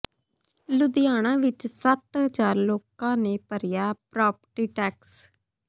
ਲੁਧਿਆਣਾ ਵਿੱਚ ਸੱਤ ਹਜ਼ਾਰ ਲੋਕਾਂ ਨੇ ਭਰਿਆ ਪ੍ਰਾਪਰਟੀ ਟੈਕਸ